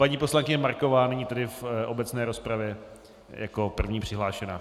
Paní poslankyně Marková nyní tedy v obecné rozpravě jako první přihlášená.